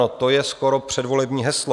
No to je skoro předvolební heslo.